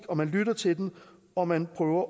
og man lytter til den og man prøver